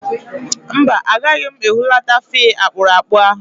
Mba, agaghị m ehulata fee akpụrụakpụ ahụ